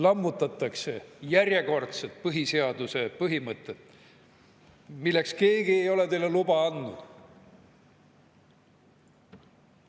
Lammutatakse järjekordset põhiseaduse põhimõtet, milleks keegi ei ole teile luba andnud.